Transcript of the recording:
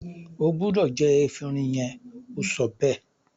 o gbúdọ̀ jẹ “efinrin” yẹn! ó sọ bẹ́ẹ̀.